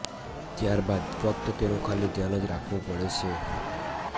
ત્યારબાદ ફક્ત તેનું ખાલી ધ્યાન જ રાખવું પડે છે